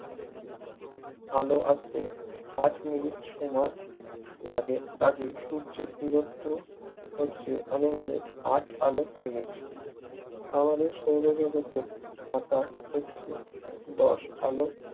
আলো আসতে আট মিনিট সময় লাগে কাজেই সূর্যের দূরত্ব হচ্ছে আনুমানিক আট আলোক মিনিট আমাদের সৌরজগতের আকার হচ্ছে দশ আলোক